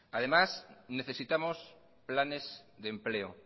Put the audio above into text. además necesitamos planes de empleo